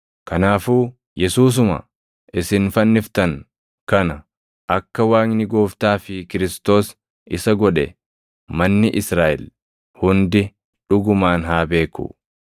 “Kanaafuu Yesuusuma isin fanniftan kana akka Waaqni Gooftaa fi Kiristoos isa godhe manni Israaʼel hundi dhugumaan haa beeku.”